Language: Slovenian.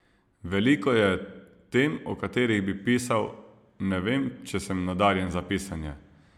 Veliko je tem, o katerih bi pisal, ne vem, če sem nadarjen za pisanje.